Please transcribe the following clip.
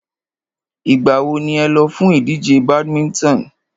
Ìgbà wo ni ẹ lọ fún ìdíje badminton?